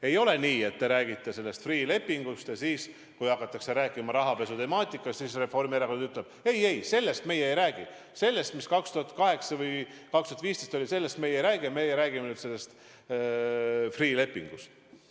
Ei ole nii, et te räägite Freeh' lepingust ja siis, kui hakatakse rääkima rahapesutemaatikast, siis ütleb Reformierakond, et ei-ei, sellest meie ei räägi – sellest, mis oli 2008 või 2015, me ei räägi, meie räägime sellest Freeh' lepingust.